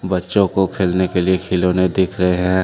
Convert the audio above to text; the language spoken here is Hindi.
बच्चों को खेलने के लिए खिलौने दिख रहे हैं।